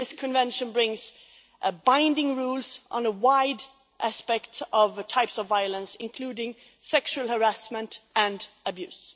This convention brings binding rules on a wide aspect of the types of violence, including sexual harassment and abuse.